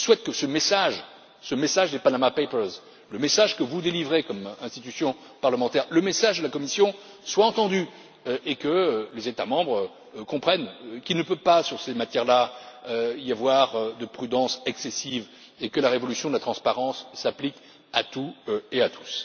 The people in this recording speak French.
Je souhaite que ce message des Panama papers, le message que vous adressez comme institution parlementaire, le message de la Commission, soit entendu et que les États membres comprennent qu'il ne peut pas, sur ces matières là, y avoir de prudence excessive et que la révolution de la transparence s'applique à tout et à tous.